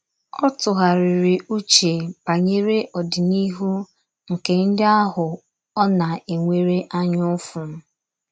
Ọ tụgharịrị uche banyere ọdịnihu nke ndị ahụ ọ na - enwere anya ụfụ.